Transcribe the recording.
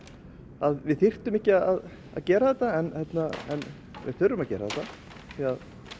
að við þyrftum ekki að að gera þetta en við þurfum að gera þetta því